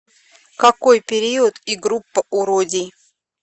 какой период и группа у родий